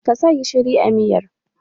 Ka sa gishiri a miyar?